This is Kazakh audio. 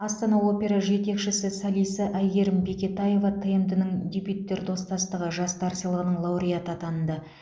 астана опера жетекшісі солисі әйгерім бекетаева тмд ның дебюттер достастығы жастар сыйлығының лауреаты атанды